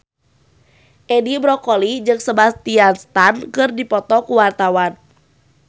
Edi Brokoli jeung Sebastian Stan keur dipoto ku wartawan